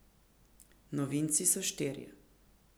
Novinci so štirje.